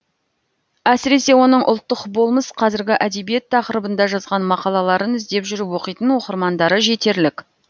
әсіресе оның ұлттық болмыс қазіргі әдебиет тақырыбында жазған мақалаларын іздеп жүріп оқитын оқырмандары жетерлік